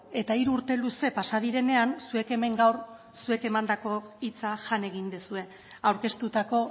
eta hiru urte luze pasa direnean zuek hemen gaur zuen emandako hitza jan egin duzue aurkeztutako